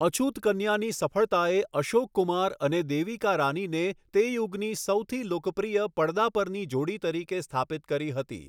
અછૂત કન્યાની સફળતાએ અશોક કુમાર અને દેવિકા રાનીને તે યુગની સૌથી લોકપ્રિય પડદા પરની જોડી તરીકે સ્થાપિત કરી હતી.